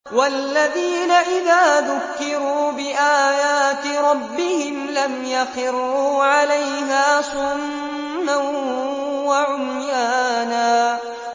وَالَّذِينَ إِذَا ذُكِّرُوا بِآيَاتِ رَبِّهِمْ لَمْ يَخِرُّوا عَلَيْهَا صُمًّا وَعُمْيَانًا